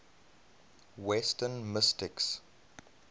western mystics